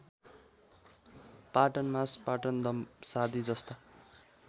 पाटनमास पाटनदम्सादी जस्ता